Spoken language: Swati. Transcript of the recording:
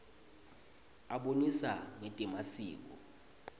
abonisa ngetemasiko